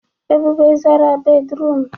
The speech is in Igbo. Ebube zara bédrụum.